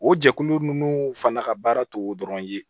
O jɛkulu ninnu fana ka baara t'o dɔrɔn ye